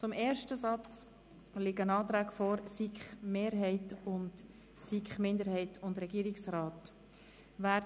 Zum ersten Satz liegen die Anträge der SiK-Mehrheit und der SiK-Minderheit/Regierungsrat vor.